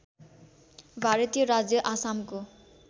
भारतीय राज्य आसामको